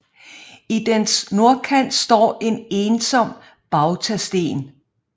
I dens nordkant står en ensom bautasten